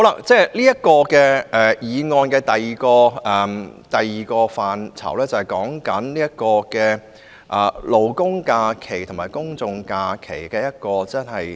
這項議案的第二個範疇是劃一勞工假期和公眾假期。